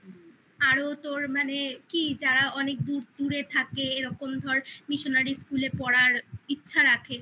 আরো তোর মানে কি যারা অনেক দূর দূরে থাকে এরকম ধর missionary school এ পড়ার ইচ্ছা রাখে